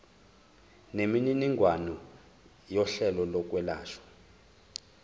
nemininingwane yohlelo lokwelashwa